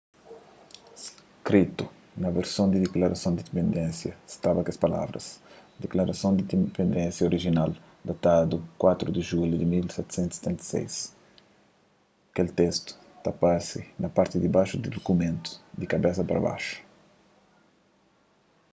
skritu na versu di diklarason di indipendénsia staba kes palavras diklarason di indipendénsia orijinal datadu 4 di julhu di 1776 kel testu ta parse na parti dibaxu di dukumentu di kabesa pa baxu